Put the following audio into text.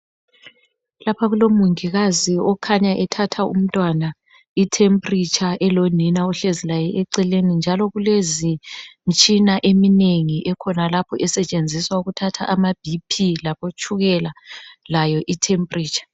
Lapha kulomongikazi okhanya ethatha umntwana itemperature elonina ohlezi naye eceleni njalo kulemtshina eminengi ekhonalapho esetshenziswa ukuthatha amabp labotshukela layo itemperature.